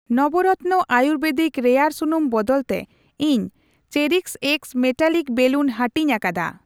ᱱᱟᱵᱨᱟᱛᱱᱟ ᱟᱭᱩᱨᱵᱮᱫᱤᱠ ᱨᱮᱭᱟᱲ ᱥᱩᱱᱩᱢ ᱵᱚᱫᱚᱞ ᱛᱮ, ᱤᱧ ᱪᱮᱨᱤᱥᱮᱠᱥ ᱢᱮᱴᱟᱞᱤᱠ ᱵᱮᱞᱩᱱ ᱦᱟᱹᱴᱤᱧ ᱟᱠᱟᱫᱟ ᱾